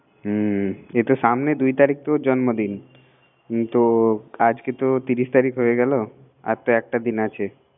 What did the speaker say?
হুম এই তো সামনে দুই তারিখ তো ওর জন্মদিন তো আজকে তো ত্রিশ তারিখ হয়ে গেল সামনে একটা দিন আছে